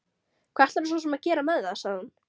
Hvað ætlarðu svo sem að gera með það, sagði hún.